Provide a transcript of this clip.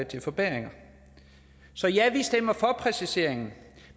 til forbedringer så ja vi stemmer for præciseringen